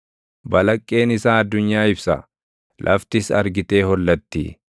Balaqqeen isaa addunyaa ibsa; laftis argitee hollatti.